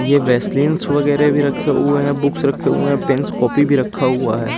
ये वेस्लिंस वगेरा भी रखे हुए है बुक्स रखे हुए पेन कॉपी भी रखा हुए है।